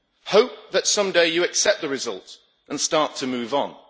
Hope, so that someday you accept the result and start to move on.